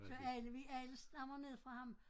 Så alle vi alle stammer ned fra ham